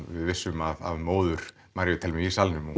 við vissum af móður Maríu Thelmu í salnum og